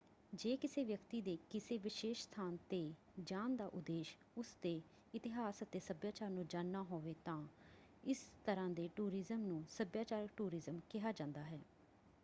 ਜੇ ਕਿਸੇ ਵਿਅਕਤੀ ਦੇ ਕਿਸੇ ਵਿਸ਼ੇਸ਼ ਸਥਾਨ 'ਤੇ ਜਾਣ ਦਾ ਉਦੇਸ਼ ਉਸਦੇ ਇਤਿਹਾਸ ਅਤੇ ਸੱਭਿਆਚਾਰ ਨੂੰ ਜਾਣਨਾ ਹੋਵੇ ਤਾਂ ਇਸ ਤਰ੍ਹਾਂ ਦੇ ਟੂਰਿਜ਼ਮ ਨੂੰ ਸੱਭਿਆਚਾਰਕ ਟੂਰਿਜ਼ਮ ਕਿਹਾ ਜਾਂਦਾ ਹੈ।